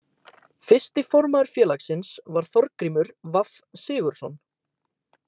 Fyrsti formaður félagsins var Þorgrímur V. Sigurðsson.